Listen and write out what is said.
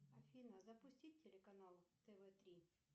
афина запусти телеканал тв три